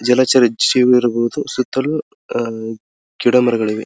ಜಲಚರಿ ಜೀವಿ ಇರಬಹುದು ಸುತ್ತಲು ಅಹ್ ಗಿಡಮರಗಳಿವೆ.